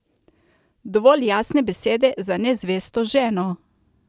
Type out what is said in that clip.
Dovolj jasne besede za nezvesto ženo!